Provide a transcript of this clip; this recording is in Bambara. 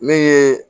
Min ye